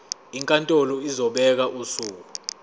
inkantolo izobeka usuku